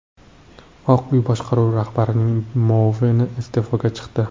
Oq uy boshqaruvi rahbarining muovini iste’foga chiqdi.